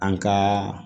An ka